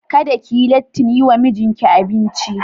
Kada ki yi lattin yi wa mijinki abinci.